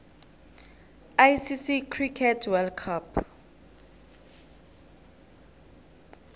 icc cricket world cup